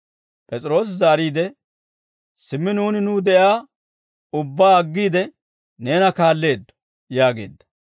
P'es'iroosi zaariide, «Simmi nuuni nuw de'iyaa ubbaa aggiide neena kaalleeddo» yaageedda.